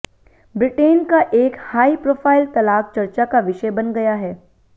Britain का एक high profile तलाक चर्चा का विषय बन गया है